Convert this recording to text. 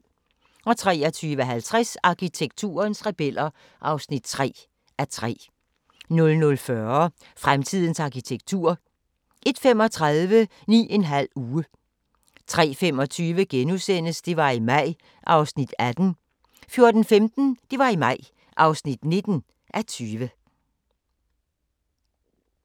23:50: Arkitekturens rebeller (3:3) 00:40: Fremtidens arkitektur 01:35: 9½ uge 03:25: Det var i maj (18:20)* 04:15: Det var i maj (19:20)